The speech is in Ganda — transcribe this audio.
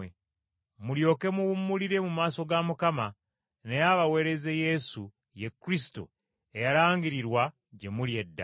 mulyoke muwummulire mu maaso ga Mukama, naye abaweereze Yesu, ye Kristo eyalangirirwa gye muli edda,